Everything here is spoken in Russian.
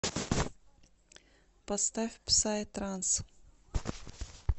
поставь псай транс